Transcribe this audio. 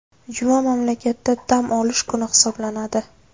Juma mamlakatda dam olish kuni hisoblanadi.